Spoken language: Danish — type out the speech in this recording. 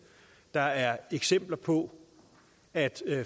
der er eksempler på at